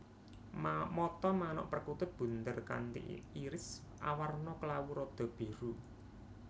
Mata manuk perkutut bunder kanthi iris awarna klawu rada biru